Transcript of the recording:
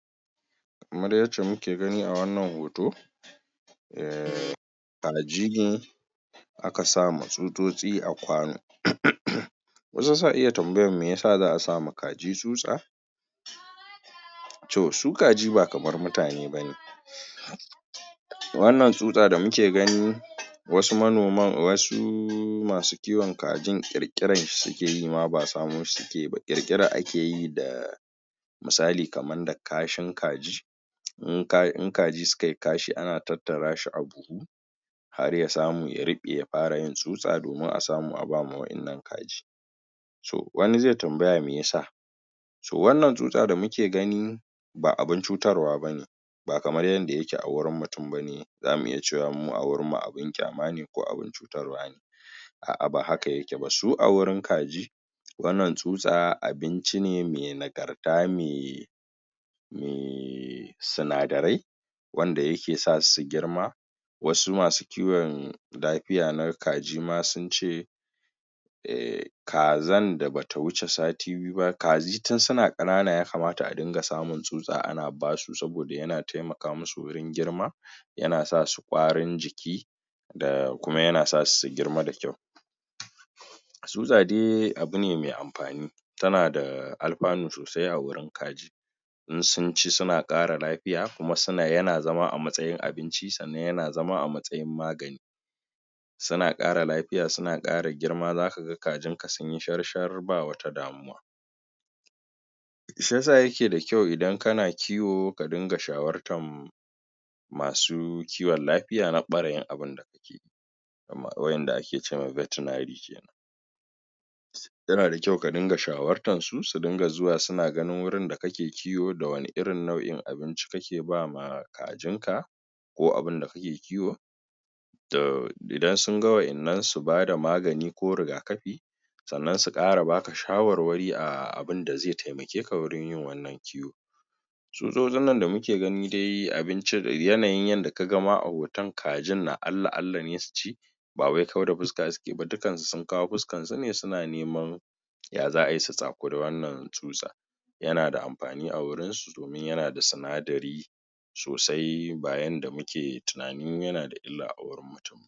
Kamar yacce muke gani a wannan hoto err kaji ne a ka sa ma tsutsotsi a kwano. Wasu sa iya tambayan me ya sa za a sa ma kaji tsutsa, toh su kaji ba kamar mutane bane, wannan tsutsa da muke gani wasu manoman, wasu masu kiwon kajin ƙirƙiran shi suke yi ma ba samo shi suke yi ba, ƙirƙira ake yi da misali kaman da kashin kaji in in kaji suka yi kashi ana tattarashi a buhu har ya samu ya ruɓe ya fara yin tsutsa domin a samu a ba ma wa’in nan kaji. so wani zai tambaya me ya sa so wannan tsutsa da muke gani ba abun cutarwa bane ba kamar yadda yake a wurin mutun bane zamu iya cewa mu a wurin mu abun kyamane ko abun cutarwa ne, a'a ba haka yake ba, su a wurin kaji wannan tsutsa abinci ne mai nagarta me me sinadarai wanda yake sasu su girma wasu masu kiwon lafiya na kaji ma sun ce er kazan da ba ta wuce sati biyu ba kaji tun suna kanana ya kamata adunga samun tsutsa ana basu saboda yana taimaka masu wajen girma, yana sasu kwarin jiki da kuma yana sasu su girma da kyau. Tsutsa dai abune mai amfani, tana da alfanu sosai a wajen kaji in sun ci suna ƙara lafiya kuma suna yana zama a matsayin abinci sannan yana zama a matsayin magani, suna ƙara lafiya suna kara girma za ka kajin ka sunyi shar-shar ba wata damuwa. Shi yasa yake da kyau idan kana kiwo ka dinga shawartan masu kiwo lafiya na ɓarayin abin da yake wadan da ake cewa veterinary kenan yana da kyau ka dinga shawartan su, su dinga zuwa suna ganin wurin da kake kiwo, da wani irin nau'in abinci kake ba ma kajinka ko abun da kake kiwo, idan sun ga wa’in nan su bada magani ko rigakafi sannan su ƙara ba ka shawarwarin a abun da zai taimake ka wurin yi wannan kiwo. Tsutsotsin nan da muke gani dai abinci yanayin yadda ka gani ma a hoton kajin na Allah-Allah ne su ci ba wai kwau da fuska suke ba dukansu sun kawo fuskansu suna neman ya za a yi su tsakuri wannan tsutsa, yana da amfani a wurinsu domin yana da sinadari sosai ba yadda muke tunani yana da illa a wurin mutum ba.